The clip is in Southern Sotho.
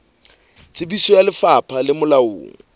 tsebiso ya lefapha le molaong